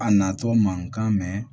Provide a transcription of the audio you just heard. A natɔ mankan mɛ